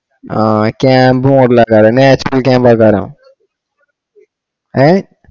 ആഹ് camp model അല്ലെ natural camp ആയ്ക്കാരം